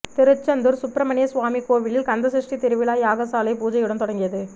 திருச்செந்தூர் சுப்பிரமணிய சுவாமி கோவிலில் கந்தசஷ்டி திருவிழா யாகசாலை பூஜையுடன் தொடங்கியது